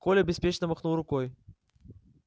коля беспечно махнул рукой